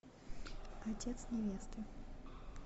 отец невесты